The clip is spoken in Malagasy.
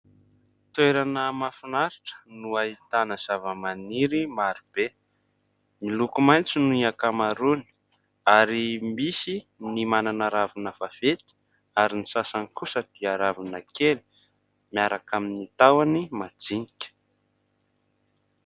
Toerana mahafinaritra no ahitana zava-maniry marobe. Miloko mainty ny akamaroany ary misy ny manana ravina vaventy ; ary ny sasany kosa dia ravina kely miaraka amin'ny tahoany madinika.